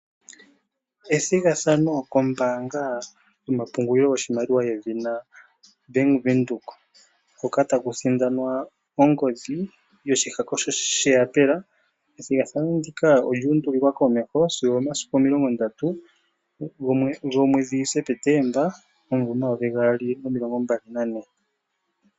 Ethigathano koombaanga yomapungulilo goshimaliwa yedhina Bank Windhoek, hoka taku sindanwa ongodhi yoshihako sheyaapela ethigathano ndika olyu undulilwa komeho sigo omomasiku omilongo ndatu, gomwedhi Septemba omumvo omayovi gaali nomilongo mbali nane.